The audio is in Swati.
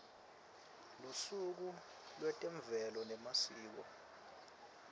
lusuku lwetemvelo nemasiko